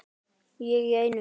Ég í einu.